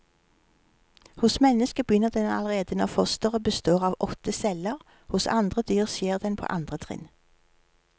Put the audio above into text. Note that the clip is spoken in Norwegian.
Hos mennesket begynner den allerede når fosteret består av åtte celler, hos andre dyr skjer den på andre trinn.